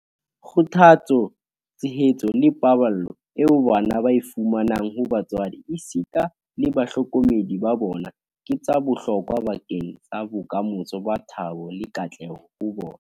Kgothatso, tshehetso le paballo eo bana ba e fumanang ho batswadi esita le bahlokomedi ba bona ke tsa bohlokwa bakeng sa bokamoso ba thabo le katleho ho bona.